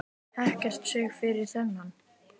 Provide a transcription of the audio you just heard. Ekkert stig fyrir þennan.